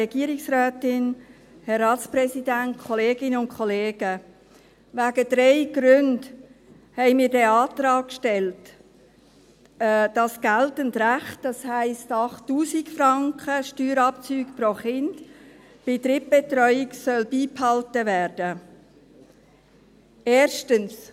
Aus drei Gründen haben wir den Antrag gestellt, wonach geltendes Recht, das heisst 8000 Franken Steuerabzug pro Kind, bei Drittbetreuung beibehalten werden soll.